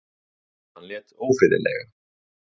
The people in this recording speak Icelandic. Hann lét ófriðlega.